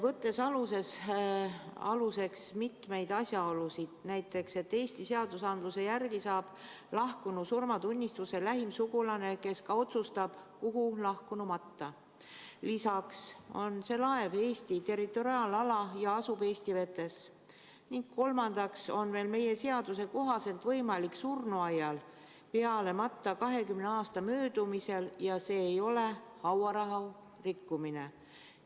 Võtame aluseks mitmeid asjaolusid, näiteks seda, et Eesti seaduste järgi saab lahkunu surmatunnistuse lähim sugulane, kes otsustab, kuhu lahkunu matta; seda, et see laev asub Eesti territoriaalalal, Eesti vetes; ning seda, et meie seaduse kohaselt on võimalik surnuaias peale matta 20 aasta möödumisel ja see ei ole hauarahu rikkumine.